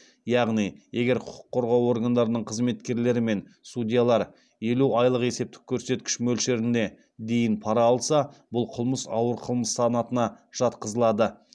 яғни егер құқық қорғау органдарының қызметкерлері мен судьялар елу айлык есептік көрсеткіш мөлшеріне дейін пара алса бұл қылмыс ауыр қылмыс санатына жатқызылады